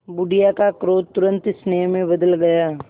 बुढ़िया का क्रोध तुरंत स्नेह में बदल गया